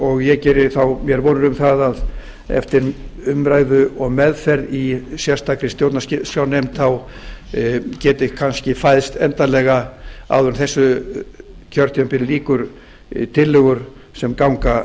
og ég geri mér þá vonir um það að eftir umræðu og meðferð í sérstakri stjórnarskrárnefnd geti kannski fæðst endanlega áður en þessu kjörtímabili lýkur tillögur sem ganga